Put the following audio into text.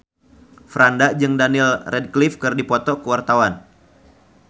Franda jeung Daniel Radcliffe keur dipoto ku wartawan